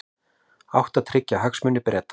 Átti að tryggja hagsmuni Breta